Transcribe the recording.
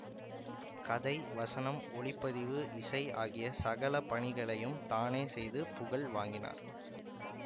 கதை வசனம் ஒளிப்பதிவு இசை ஆகிய சகல பணிகளையும் தானே செய்து புகழ் வாங்கினார்